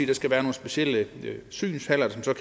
der skal være nogle specielle synshaller som så